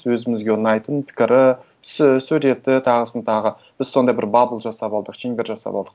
өзімізге ұнайтын пікірі түсі суреті тағысын тағы біз сондай бір бабл жасап алдық шеңбер жасап алдық